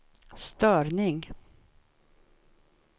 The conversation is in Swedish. störning